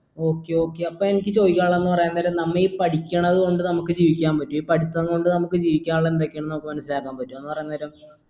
okay okay അപ്പൊ എനിക്ക് ചോദിക്കാനുള്ളത് എന്ന് പറയുന്നത് നമ്മെ പഠിക്കണത് കൊണ്ട് നമുക്ക് ജീവിക്കാൻ പറ്റും ഈ പഠിത്തം കൊണ്ട് നമുക്ക് ജീവിക്കാനുള്ള എന്തൊക്കെയാണ് നമുക്ക് മനസിലാക്കാൻ പറ്റ എന്ന് പറയുന്ന നേരം